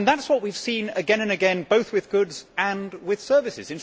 That is what we have seen again and again, both with goods and with services.